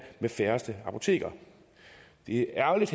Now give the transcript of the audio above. med færrest apoteker det er ærgerligt